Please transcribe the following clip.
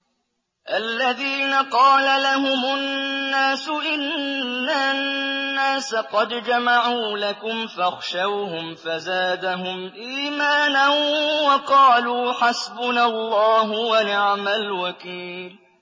الَّذِينَ قَالَ لَهُمُ النَّاسُ إِنَّ النَّاسَ قَدْ جَمَعُوا لَكُمْ فَاخْشَوْهُمْ فَزَادَهُمْ إِيمَانًا وَقَالُوا حَسْبُنَا اللَّهُ وَنِعْمَ الْوَكِيلُ